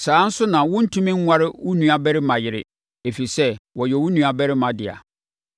“ ‘Saa ara nso na wontumi nnware wo nuabarima yere, ɛfiri sɛ, ɔyɛ wo nuabarima dea.